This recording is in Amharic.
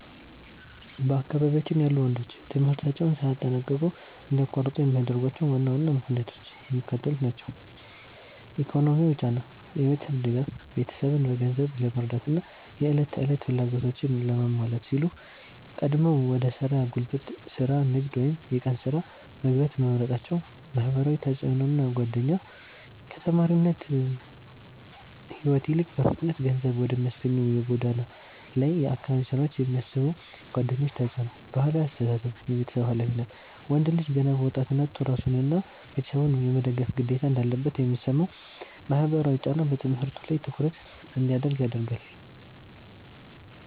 በአካባቢያችን ያሉ ወንዶች ትምህርታቸውን ሳያጠናቅቁ እንዲያቋርጡ የሚያደርጓቸው ዋና ዋና ምክንያቶች የሚከተሉት ናቸው፦ ኢኮኖሚያዊ ጫና (የቤተሰብ ድጋፍ)፦ ቤተሰብን በገንዘብ ለመርዳትና የዕለት ተዕለት ፍላጎቶችን ለማሟላት ሲሉ ቀድመው ወደ ሥራ (ጉልበት ሥራ፣ ንግድ ወይም የቀን ሥራ) መግባት መምረጣቸው። ማህበራዊ ተጽዕኖና ጓደኛ፦ ከተማሪነት ሕይወት ይልቅ በፍጥነት ገንዘብ ወደሚያስገኙ የጎዳና ላይና የአካባቢ ሥራዎች የሚስቡ ጓደኞች ተጽዕኖ። ባህላዊ አስተሳሰብ (የቤተሰብ ኃላፊነት)፦ ወንድ ልጅ ገና በወጣትነቱ ራሱንና ቤተሰቡን የመደገፍ ግዴታ እንዳለበት የሚሰማው ማህበራዊ ጫና በትምህርቱ ላይ ትኩረት እንዳያደርግ ያደርገዋል።